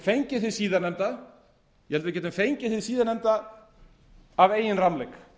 en ég tel að við getum fengið hið síðar nefnda af eigin rammleik